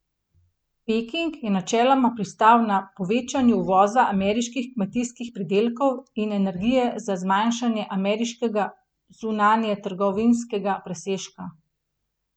Peking je načeloma pristal na povečanje uvoza ameriških kmetijskih pridelkov in energije za zmanjšanje ameriškega zunanjetrgovinskega presežka.